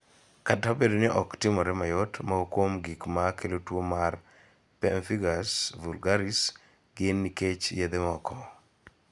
Kata obedo ni ok timore mayot, moko kuom gik ma kelo tuo mar pemphigus vulgaris gin nikech yedhe moko.